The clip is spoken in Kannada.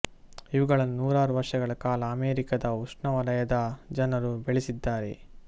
ಇವುಗಳನ್ನು ನೂರಾರು ವರ್ಷಗಳ ಕಾಲ ಅಮೇರಿಕಾದ ಉಷ್ಣವಲಯದ ಜನರು ಬೆಳೆದಿದ್ದಾರೆ